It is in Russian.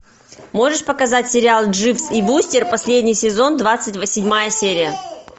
можешь показать сериал дживс и вустер последний сезон двадцать седьмая серия